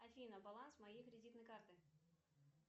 афина баланс моей кредитной карты